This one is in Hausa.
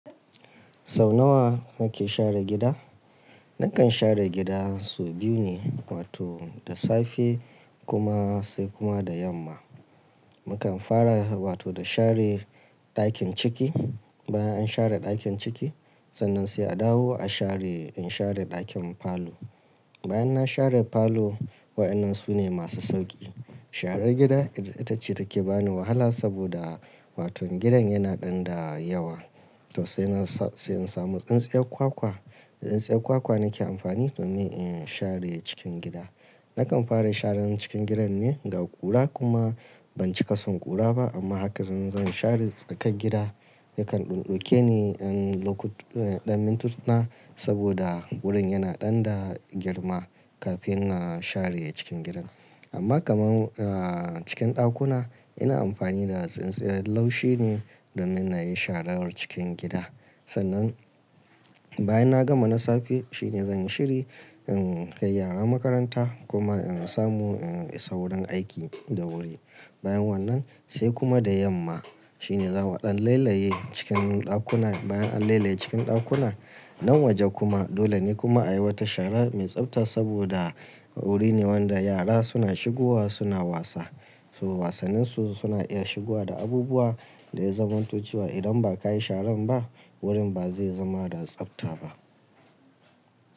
Sau nawa nake share gida? Nakan share gida sau biyu ne, wato da safe kuma sai kuma da yamma. Mukan fara wato da share ɗakin ciki. Bayan an share ɗakin ciki, sannan sai a dawo a share, in share ɗakin falo. Bayan na share falo, waɗannan su ne masu sauƙi. Sharar gida ita ce take bani wahala saboda waton gidan yana ɗan da yawa. To sai na sa, sai in samu tsintsiyar kwakwa. Da Tsintsiyar kwakwa nake amfani domin in share cikin gida. Nakan fara sharen cikin gidan ne, ga ƙura kuma ban ciƙa son ƙura ba amma haka zan, zan share tsakar gida. Yakan ɗan ɗauke ni ɗan lokutu, ɗan mintuna saboda wurin yana ɗan da girma kafin na share cikin gidan. Amma kaman, ah, cikin ɗakuna ina amfani da tsintsiyan laushi ne domin na yi sharar cikin gida. Sannan bayan na gama na safe shine zan yi shiri in kai yara makaranta kuma in samu in isa wurin aiki da wuri. Bayan wannan sai kuma da yamma shine zamu ɗan lailaye cikin ɗakuna. Bayan an lailaye cikin ɗakuna nan waje kuma dole ne kuma a yi wata shara mai tsafta saboda wuri ne wanda yara suna shigowa suna wasa. To wasannin su suna iya shigowa da abubuwa da ya zamanto cewa idan ba ka yi sharan ba wurin ba zai zama da tsafta ba.